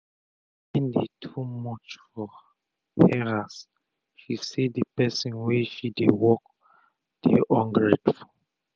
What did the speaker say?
the pain dey too much for heras she say the person wey she dey work dey ungrateful.